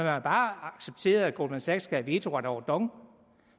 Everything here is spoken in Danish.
har bare accepteret at goldman sachs skal have vetoret over dong